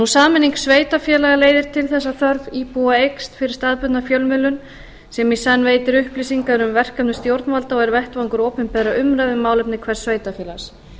sameining sveitarfélaga leiðir til þess að þörf íbúa eykst fyrir staðbundna fjölmiðlun sem í senn veitir upplýsingar um verkefni stjórnvalda og er vettvangur opinberrar umræðu um málefni hvers sveitarfélags